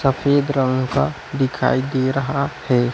सफेद रंग का दिखाई दे रहा है।